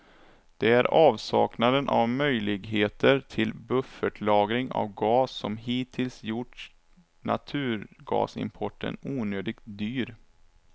Det är avsaknaden av möjligheter till buffertlagring av gas som hittills gjort naturgasimporten onödigt dyr.